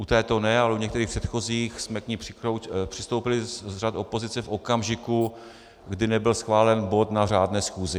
U této ne, ale u některých předchozích jsme k ní přistoupili z řad opozice v okamžiku, kdy nebyl schválen bod na řádné schůzi.